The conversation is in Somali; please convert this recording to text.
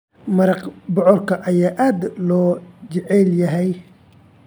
Maraq bocorka ayaa aad loo jecel yahay.